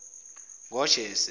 ngojese